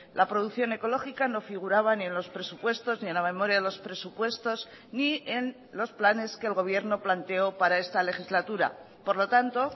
la producción ecológica no figuraba ni en los presupuestos ni en la memoria de los presupuestos ni en los planes que el gobierno planteó para esta legislatura por lo tanto